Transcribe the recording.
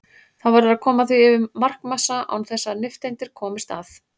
Þá verður að koma því yfir markmassa án þess að nifteindir komist að.